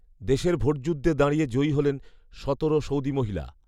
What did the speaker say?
দেশের ভোটযুদ্ধে দাঁড়িয়ে জয়ী হলেন সতেরো সৌদি মহিলা